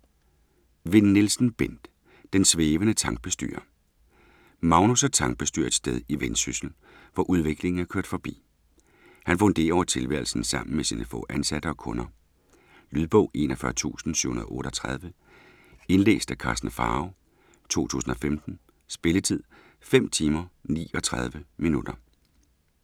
Vinn Nielsen, Bent: Den svævende tankbestyrer Magnus er tankbestyrer et sted i Vendsyssel, hvor udviklingen er kørt forbi. Han funderer over tilværelsen sammen med sine få ansatte og kunder. Lydbog 41738 Indlæst af Karsten Pharao, 2015. Spilletid: 5 timer, 39 minutter.